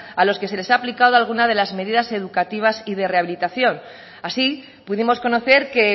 a los que les ha aplicado alguna de las medidas educativas y de rehabilitación así pudimos conocer que